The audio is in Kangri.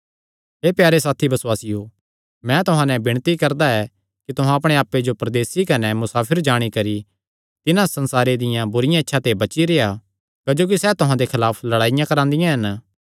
हे प्यारे साथी बसुआसियो मैं तुहां नैं विणती करदा ऐ कि तुहां अपणे आप्पे जो परदेसी कने मुसाफिर जाणी करी तिन्हां संसारे दियां बुरिआं इच्छां ते बची रेह्आ क्जोकि सैह़ तुहां दे खलाफ लड़ाई करदियां हन